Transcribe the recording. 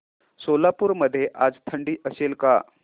सोलापूर मध्ये आज थंडी असेल का